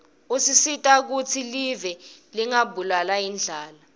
usita kutsi live lingabulawa yindlala